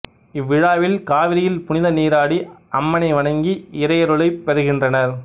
இவ்விழாவில் காவிரியில் புனித நீராடி அம்மனை வணங்கி இறையருளைப் பெறுகின்றனர்